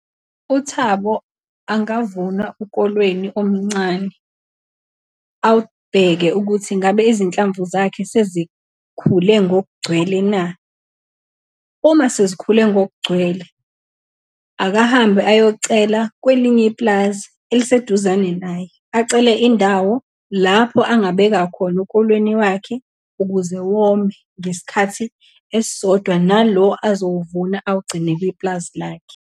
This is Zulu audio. UThabo angavuna ukolweni omncane, awubheke ukuthi ingabe izinhlamvu zakhe sezikhule ngokugcwele na. Uma sezikhule ngokugcwele, akahambe ayocela kwelinye ipulazi eliseduzane naye, acele indawo lapho angabeka khona ukolweni wakhe, ukuze wome ngesikhathi esisodwa nalo azowuvuna awugcine kwipulazi lakhe.